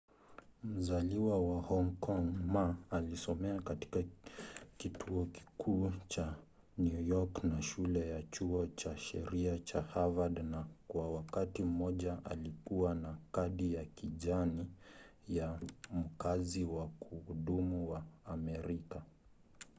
mzaliwa wa hong kong ma alisomea katika kituo kikuu cha new york na shule ya chuo cha sheria cha harvard na kwa wakati mmoja alikuwa na kadi ya kijani” ya mkazi wa kudumu wa amerika